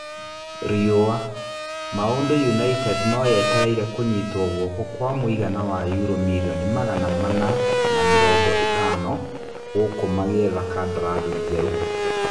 (Rĩũa) Maũndũ United no yeterere kũnyitwo guoko kwa mũigana wa Yuro mirioni magana mana na mĩrongo-ĩtano gũkũ magĩetha kandarathi njerũ.